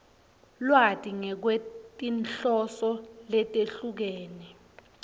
lwati ngekwetinhloso letehlukene